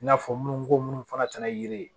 I n'a fɔ minnu ko minnu fana tɛ na yiri ye